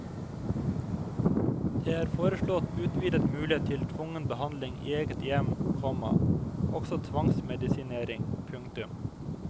Det er foreslått utvidet mulighet til tvungen behandling i eget hjem, komma også tvangsmedisinering. punktum